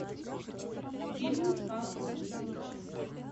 фильмы с павлом прилучным